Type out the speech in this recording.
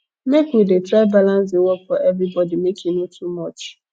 make we dey try balance di work for everybodi make e no too much